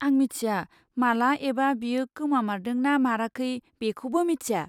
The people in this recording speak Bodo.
आं मिथिया माला एबा बियो गोमामारदों ना माराखै बेखौबो मिथिया।